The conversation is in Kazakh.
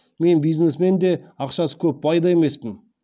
мен бизнесмен де ақшасы көп бай да емеспін